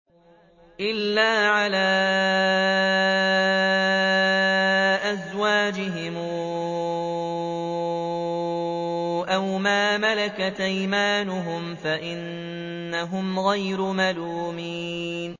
إِلَّا عَلَىٰ أَزْوَاجِهِمْ أَوْ مَا مَلَكَتْ أَيْمَانُهُمْ فَإِنَّهُمْ غَيْرُ مَلُومِينَ